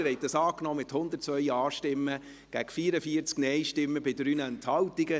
Sie haben diesen Antrag angenommen mit 102 Ja- gegen 44 Nein-Stimmen bei 3 Enthaltungen.